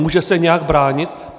Může se nějak bránit?